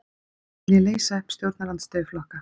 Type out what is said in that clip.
Vilja leysa upp stjórnarandstöðuflokka